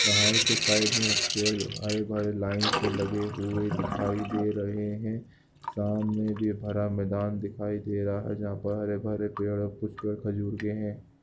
पहाड़ के साइड में पेड़ हरे भरे लाइन से लगे हुए दिखाई दे रहै हैं सामने भी हरा मैदान दिखाई दे रहा है जहां पर हरे भरे पेड़ और कुछ पेड़ खजूर के हैं।